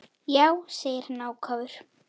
Já, segir hann ákafur.